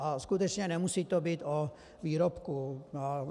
A skutečně nemusí to být o výrobku.